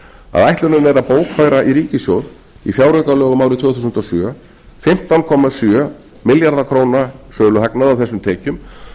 að ætlunin er að bókfæra í ríkissjóð í fjáraukalögum árið tvö þúsund og sjö fimmtán komma sjö milljarða króna söluhagnað af þessum tekjum